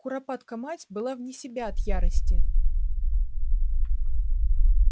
куропатка мать была вне себя от ярости